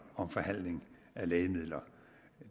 om forhandling af lægemidler